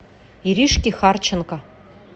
иришке харченко